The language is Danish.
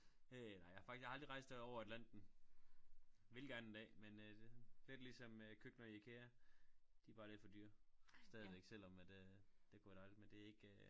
Øh nej jeg har faktisk aldrig rejst her over atlanten ville gerne en dag men øh det sådan lidt ligesom øh køkkener og IKEA de bare lidt for dyre stadigvæk selvom det kunne være dejligt men det ikke